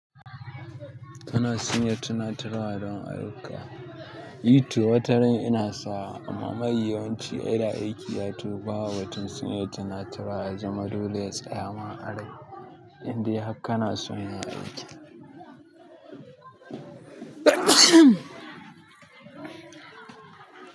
Tana sanya tunatarwa don ayyuka. I to wata ran ina sawa, amma mai yawanci ina aiki ya tawo ba batun sanya tunatarwa ya zama dole ya tsaya ma a rai, indai hak kana son yayi aiki.